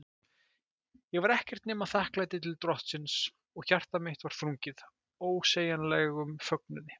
Ég var ekkert nema þakklæti til Drottins, og hjarta mitt var þrungið ósegjanlegum fögnuði.